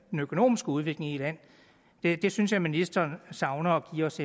økonomiske udvikling i et land det synes jeg at ministeren savner at give os